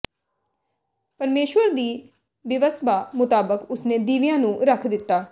ਪਰਮੇਸ਼ੁਰ ਦੀ ਬਿਵਸਬਾ ਮੁਤਾਬਕ ਉਸਨੇ ਦੀਵਿਆਂ ਨੂੰ ਰੱਖ ਦਿੱਤਾ